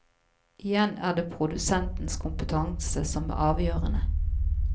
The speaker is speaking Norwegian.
Igjen er det produsentens kompetanse som er avgjørende.